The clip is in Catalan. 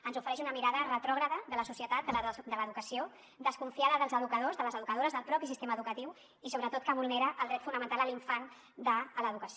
ens ofereix una mirada retrògrada de la societat de l’educació desconfiada dels educadors de les educadores del propi sistema educatiu i sobretot que vulnera el dret fonamental de l’infant a l’educació